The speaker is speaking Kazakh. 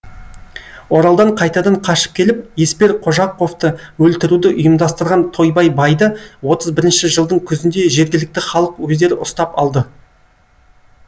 оралдан қайтадан қашып келіп еспер қожақовты өлтіруді ұйымдастырған тойбай байды отыз бірінші жылдың күзінде жергілікті халық өздері ұстап алды